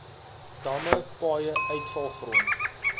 damme paaie uitvalgrond